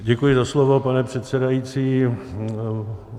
Děkuji za slovo, pane předsedající.